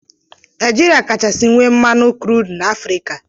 Naijiria kachasị nwee mmanụ krud na Afrịka.